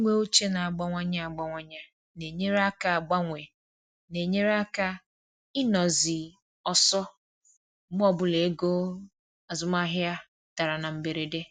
Inwe uche na-agbanwe agbanwe na-enyere aka agbanwe na-enyere aka ịnọ zi ọsọ um mgbe ọbụla ego azụmahịa dara na mberede